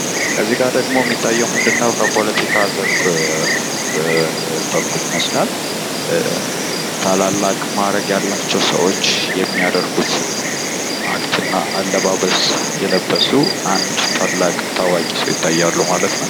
ከዚህ ጋ የሚታየው ምንድን ነው በፖለቲካው ዘርፍ በኩል ይመስላል። ታላላቅ ሰዎች የሚያደርጉት አክትና አለባበስ የለበሱ አንድ ታዋቂ ሰው ይታያሉ ማለት ነው።